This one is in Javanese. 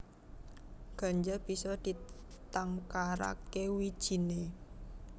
Ganja bisa ditangkaraké wijiné